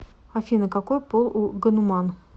афина какой пол у гануман